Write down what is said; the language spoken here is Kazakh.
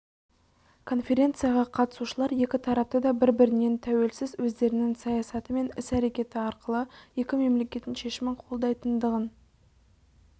конференцияға қатысушылар екі тарапты да бір-бірінен тәуелсіз өздерінің саясаты мен іс-әрекеті арқылы екі мемлекеттің шешімін қолдайтындығын